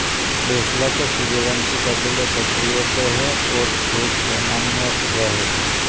बैसला के सूर्यवंशी कबीले क्षत्रियों के हैं और क्रूर सेनानियों रहे हैं